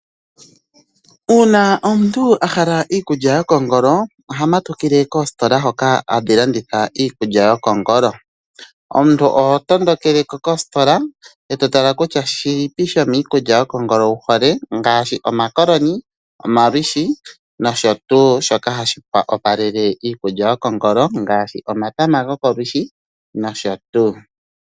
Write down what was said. Uuna omuntu ahala iikulya kokongolo, ohamatukile koositolo hoka hadhi landitha iikulya yokongolo. Omuntu oho tondokele ko koositola e totala kutya shilipi shomiikulya yokongolo wuhole ngaashi, omakoloni, omalushi nosho tu shoka hashi wopalele iikulya yokongolo ngaashi omatama gokolushi nosho tu.